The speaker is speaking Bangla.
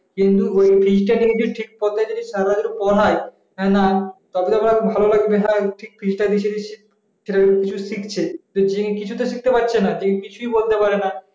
কিন্তু ওই fees টাকে যদি ঠিক পথে সারাদিন যদি পড়াই তা না তবে তো ভালো লাগবে হ্যাঁ ঠিক fees তা নিচ্ছে নিচ্ছে ছেলেরা কিছু শিখছে দিয়ে কিছুই শিখতে পারছে না যে কিছুই বলতে পারেনা